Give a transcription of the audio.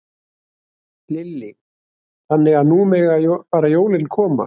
Lillý: Þannig að nú mega bara jólin koma?